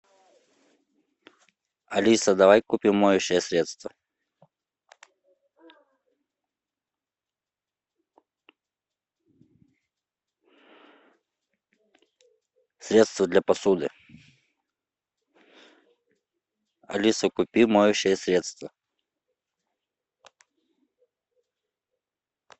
алиса давай купим моющее средство средство для посуды алиса купи моющее средство